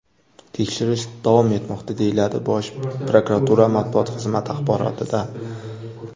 Tekshirish davom etmoqda”, deyiladi Bosh prokuratura matbuot xizmati axborotida.